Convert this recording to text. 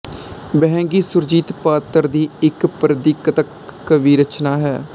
ਵਹਿੰਗੀ ਸੁਰਜੀਤ ਪਾਤਰ ਦੀ ਇੱਕ ਪ੍ਰਗੀਤਕ ਕਾਵਿ ਰਚਨਾ ਹੈ